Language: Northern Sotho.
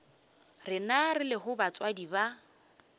rena re lego batswadi ba